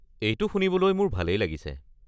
এইটো শুনিবলৈ মোৰ ভালেই লাগিছে।